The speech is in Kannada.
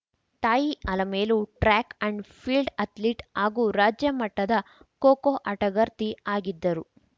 ತಾಯಿ Alamelu track and field athlete ಹಾಗೂ ರಾಜ್ಯ ಮಟ್ಟದ ಖೋಖೋ ಆಟಗಾರ್ತಿ ಆಗಿದ್ದರು